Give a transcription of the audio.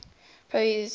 proyset